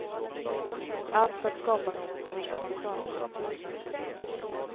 Allt för att skapa någon sorts koncernkultur.